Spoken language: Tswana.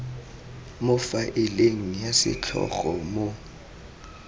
mo faeleng ya setlhogo mo